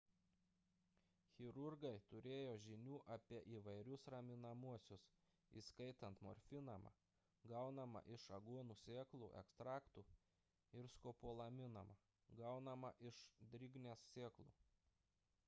chirurgai turėjo žinių apie įvairius raminamuosius įskaitant morfiną gaunamą iš aguonų sėklų ekstraktų ir skopolaminą gaunamą iš drignės sėklų